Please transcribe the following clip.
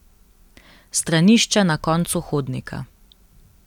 Stranišče na koncu hodnika.